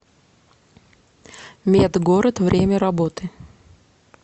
медгород время работы